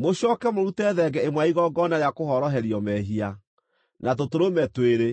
Mũcooke mũrute thenge ĩmwe ya igongona rĩa kũhoroherio mehia, na tũtũrũme twĩrĩ,